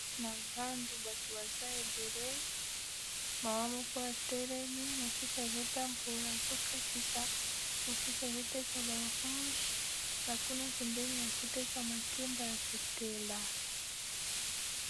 Na zandu bato baza ebele mawa moko ya telemi mosusu azotambola azokatisa mosusu azoteka baranche na kuna pembeni bazoteka makemba ya kotela.